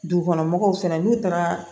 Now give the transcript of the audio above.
Dugukɔnɔmɔgɔw fana n'u taara